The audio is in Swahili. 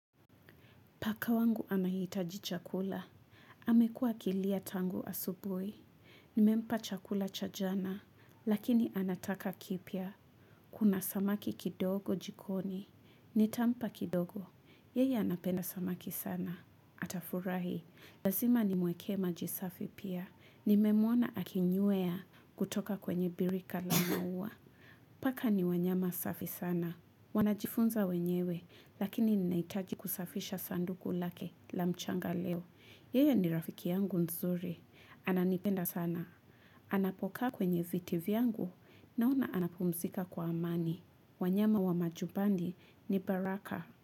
Paka wangu anahitaji chakula. Amekua akilia tangu asubuhi. Nimempa chakula cha jana. Lakini anataka kipya. Kuna samaki kidogo jikoni. Nitampa kidogo. Yeye anapenda samaki sana. Atafurahi. Lazima nimwekee maji safi pia. Nimemwona akinywea kutoka kwenye birika la maua. Paka ni wanyama safi sana. Wanajifunza wenyewe. Lakini ninahitaji kusafisha sanduku lake la mchanga leo. Yeye ni rafiki yangu nzuri. Ananipenda sana. Anapokaa kwenye viti vyangu naona anapumzika kwa amani. Wanyama wa majubandi ni baraka.